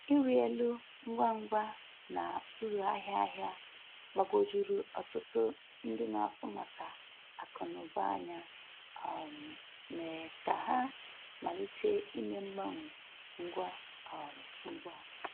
Ịrị elu ngwa ngwa na uru ahịa ahịa gbagwojuru ọtụtụ ndị n'afu maka akụ na uba anya, um mee ka ha malite ime mgbanwe ngwa um ngwa.